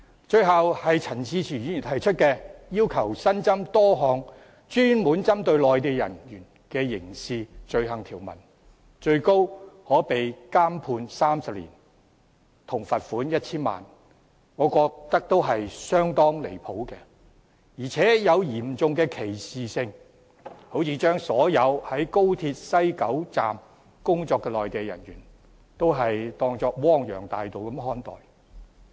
最後是陳志全議員提出要求新增多項專門針對內地人員的刑事罪行條文，最高可判監30年及罰款 1,000 萬元，我認為相當離譜，而且帶有嚴重歧視，好像把所有在高鐵西九龍站工作的內地人員視為汪洋大盜般看待。